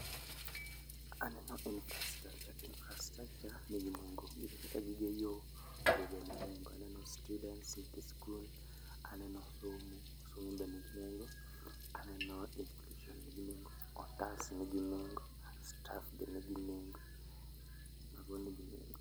Aneno infrastructure, infrastructure nigi nengo. Gin kaka gige yo, yo bende nigi nengo. Aneno students nyithi skul, aneno somo, somo be nigi nengo. Aneno inclusion nigi nengo, otas nigi nengo, staff be nigi nengo, mago nigi nengo